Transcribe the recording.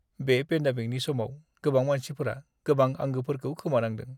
बे पेन्डेमिकनि समाव गोबां मानसिफोरा गोबां आंगोफोरखौ खोमानांदों।